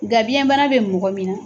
Nka biyɛn bana bɛ mɔgɔ min na